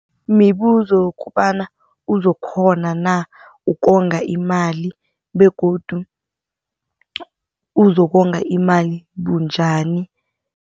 Mibuzo kobana, uzokukghona na ukonga imali? Begodu uzokonga imali bunjani?